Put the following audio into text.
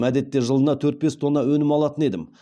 әдетте жылына төрт бес тонна өнім алатын едім